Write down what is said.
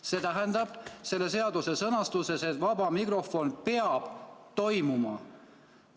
" See tähendab, et vaba mikrofon peab toimuma.